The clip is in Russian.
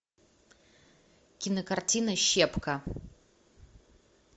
кинокартина щепка